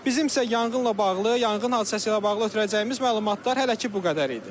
Bizim isə yanğınla bağlı, yanğın hadisəsi ilə bağlı ötürəcəyimiz məlumatlar hələ ki bu qədər idi.